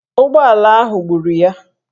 Ụgbọala ahụ gburu ya.